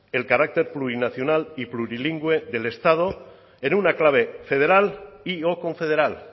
el carácter plurinacional y plurilingüe del estado en una clave federal y o confederal